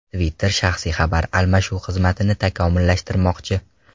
Twitter shaxsiy xabar almashuv xizmatini takomillashtirmoqchi.